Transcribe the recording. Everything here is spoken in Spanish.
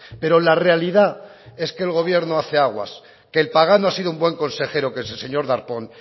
pero la realidad es que el gobierno hace aguas que el pagano ha sido un buen consejero que es el señor darpón